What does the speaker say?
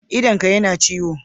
Idonka yana ciwo?